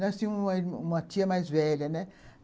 Nasceu uma uma tia mais velha, né?